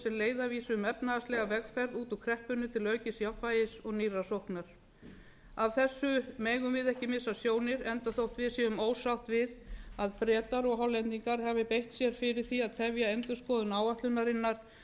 leiðarvísi um efnahagslega vegferð út úr kreppunni til aukins jafnvægis og nýrrar sóknar af þessu megum við ekki mega sjónir enda þótt við séum ósátt við að bretar og hollendingar hafi beitt sér fyrir því að tefja endurskoðun áætlunarinnar